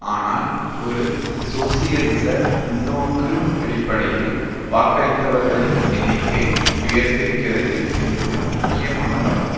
ஆனால் ஒரு சோசியலிச முன்னோக்கு அடிப்படையில் வாக்களித்தவர்களின் எண்ணிக்கை உயர்ந்திருக்கிறது என்பது முக்கியமானதாகும்